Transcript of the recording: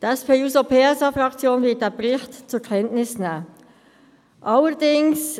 Die SP-JUSO-PSA-Fraktion wird diesen Bericht zur Kenntnis nehmen.